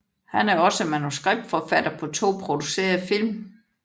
Han er også manuskriptforfatter på to producerede film